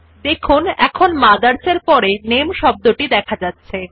দেখুন এখন MOTHERS এর পরে শব্দটি দেখা যাচ্ছে